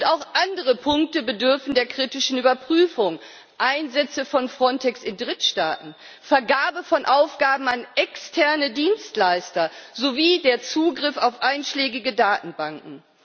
Auch andere Punkte bedürfen der kritischen Überprüfung Einsätze von Frontex in Drittstaaten, Vergabe von Aufgaben an externe Dienstleister sowie der Zugriff auf einschlägige Datenbanken.